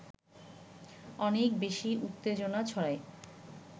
অনেক বেশি উত্তেজনা ছড়ায়